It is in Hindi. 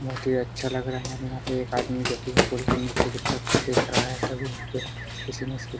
बहुत ही अच्छा लग रहा है यहाँ पे एक आदमी जो की पूल के नीचे की तरफ से देख रहा है तभी यहाँ पे किसी ने --